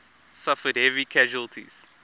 suffered heavy casualties